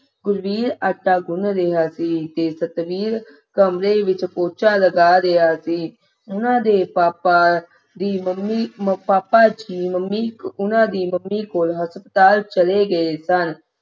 ਗੁਰਬੀਰ ਆਟਾ ਗੁੰਨ ਰਿਹਾ ਸੀ ਤੇ ਸਤਵੀਰ ਕਮਰੇ ਵਿੱਚ ਪੋਚਾ ਲਗਾ ਰਿਹਾ ਸੀ ਉਨ੍ਹਾਂ ਦੇ ਪਾਪਾ ਦੀ ਮੰਮੀ ਅਹ ਪਾਪਾ ਜੀ ਮੰਮੀ ਉਨ੍ਹਾਂ ਦੀ ਮੰਮੀ ਕੋਲ ਹਸਪਤਾਲ ਚਲੇ ਗਏ ਸਨ